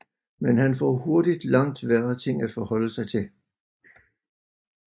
Men han får hurtigt langt værre ting at forholde sig til